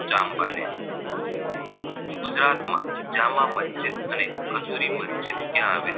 જામા મસ્જિદ અને કઝુરી મસ્જિદ ક્યાં આવેલી